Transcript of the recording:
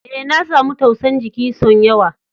E,na samu tausa'n jiki son yawa.